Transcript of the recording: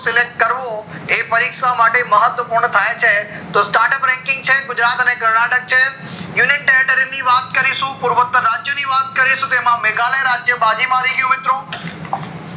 select કરવો એ પરીક્ષા માટે મહત્વ પૂર્ણ થાય છે તો start up ranking છે ગુજરાત અને કર્નાટક છે union territory ની વાત કરીશું પૂર્વત રાજ્યો ની વાત કરીશું તો તેમાં મેઘાલય રાજ્ય માં આવી ગયું મિત્રો